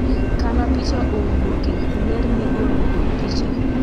kama picha owuoke, ler migolo kod picha